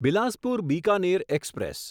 Bilaspur Bikaner express